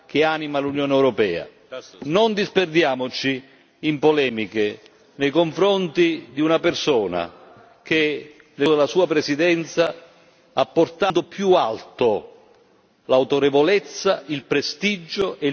Non disperdiamoci in polemiche nei confronti di una persona che, nel corso della sua Presidenza, ha portato al punto più alto l'autorevolezza, il prestigio e il potere del Parlamento europeo.